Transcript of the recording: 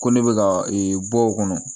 Ko ne bɛ ka e bɔ o kɔnɔ